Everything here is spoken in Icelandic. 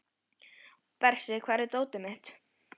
Bersi, hvar er dótið mitt?